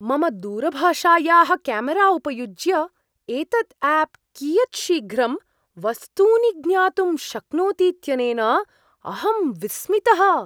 मम दूरभाषायाः क्यामरा उपयुज्य एतत् आप् कियत् शीघ्रं वस्तूनि ज्ञातुं शक्नोतीत्यनेन अहं विस्मितः।